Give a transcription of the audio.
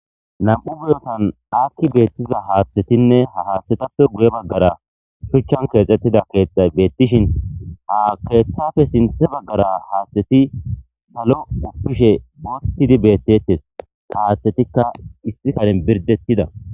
Nam'u biyotan akki beettiza haathtetinne ha haathtetappe guye baggara shuchchan keexxettida keexa beettishin ha keeththafe sinthe baggara haathteti salo uppishe boottidi beettetes kahaaththetikka issi kalen birdettida.